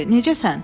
Necəsən?